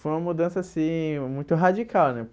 Foi uma mudança assim, muito radical, né?